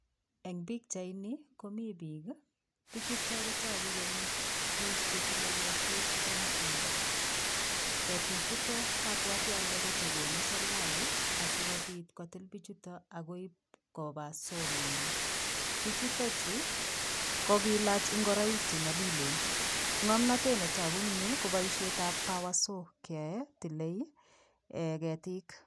Eng pichait nii komii biik bichutoo komii biik kolule ketiik en tumdaa ketiik chutoon abwatii ale ko chegonuu serikali asikobiit kotil bichutoon agoibe kobaa [saw miil] bichutoon chuu ko kilaach ingoraik che nyalilen ngamnatet ne magaat en Yuu ko ngamnatet nebo ketil [power saw] tile ketiik.